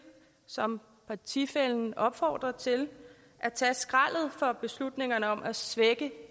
som partifællen opfordrer til at tage skraldet for beslutningerne om at svække